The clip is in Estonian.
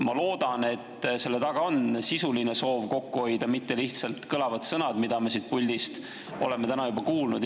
Ma loodan, et selle taga on sisuline soov kokku hoida, mitte lihtsalt kõlavad sõnad, mida me siit puldist oleme täna juba kuulnud.